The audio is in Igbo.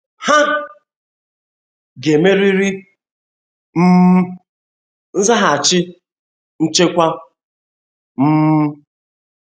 Ha ga-emerịrị um nzaghachi nchekwa ,um